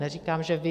Neříkám, že vy.